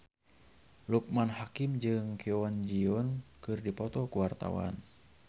Loekman Hakim jeung Kwon Ji Yong keur dipoto ku wartawan